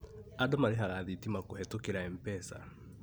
Andũ marĩhaga thitima kũhetũkĩra MPESA